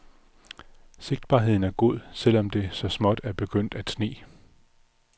Sigtbarheden er god, selv om det så småt er begyndt at sne.